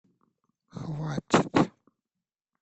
хватит